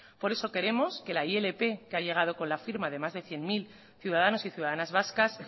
por eso queremos que la ilp que ha llegado con la firma de más de cien mil ciudadanos y ciudadanas vascas